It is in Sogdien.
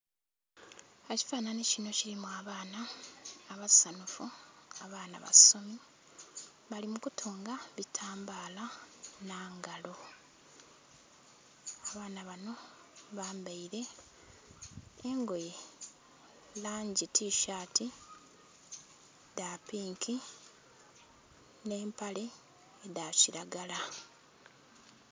Ekifanhanhi kino kirimu abaana abasanufu abaana abasomi balimukutuga bitambla nangalo . Abaana bano bambaire engoye langi tishati dhapinki n'empale dhakiragala.